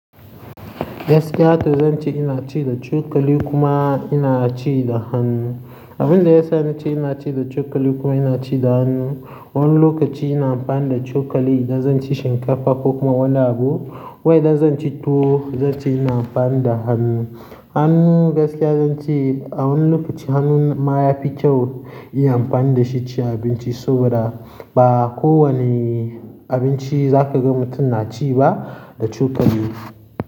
Gaskiya to zan ce ina ci da cokali kuma ina ci da hannu. Abin da ya sa na ce ina ci da cokali kuma ina ci da hannu, wani lokaci ina amfani da cokali idan zan ci shinkafa ko kuma wani abu. Wai idan zan ci tuwo zan ce ina amfani da hannu. Hannu gaskiya zan ce a wani lokaci hannun ma yafi kyau yin amfani da shi ci abinci saboda ba kowane abinci za ka ga mutum na ci ba da cokali.